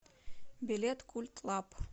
билет культлаб